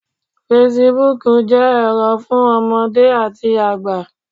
Fesibuúkù jẹ́ ẹ̀rọ fún ọmọdé àti àgbà